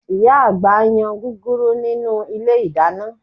Ìyá àgbà ń yan gúgúrú nínú ilé ìdáná